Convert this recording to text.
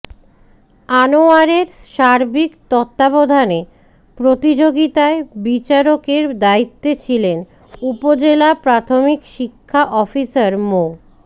আনোয়ারের সার্বিক তত্ত্বাবধানে প্রতিযোগিতায় বিচারকের দায়িত্বে ছিলেন উপজেলা প্রাথমিক শিক্ষা অফিসার মো